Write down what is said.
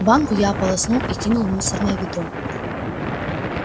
банку я ополоснул и кинул в мусорное ведро